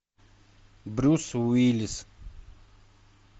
брюс уиллис